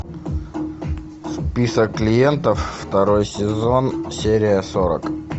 список клиентов второй сезон серия сорок